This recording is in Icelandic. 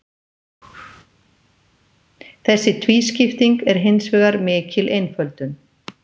Þessi tvískipting er hins vegar mikil einföldun.